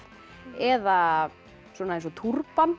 eða eins og